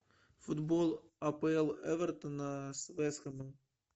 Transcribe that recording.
футбол апл эвертона с вест хэмом